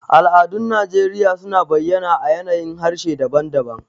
Al'adun Najeriya suna bayyana a yanayin harshe daban-daban.